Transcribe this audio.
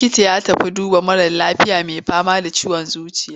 Likitan ya tafi duba wani mara lafiya mai fama da ciwon zuciya.